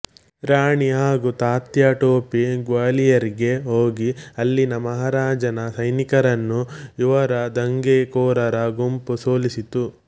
ರಾಣಿ ಹಾಗೂ ತಾತ್ಯಾ ಟೊಪಿ ಗ್ವಾಲಿಯರ್ಗೆ ಹೋಗಿ ಅಲ್ಲಿನ ಮಹಾರಾಜನ ಸೈನಿಕರನ್ನು ಇವರ ದಂಗೆಕೋರರ ಗುಂಪು ಸೋಲಿಸಿತು